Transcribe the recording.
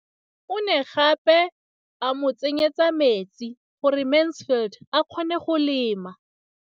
O ne gape a mo tsenyetsa metsi gore Mansfield a kgone go lema.